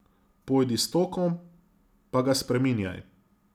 Pojdi s tokom, pa ga spreminjaj.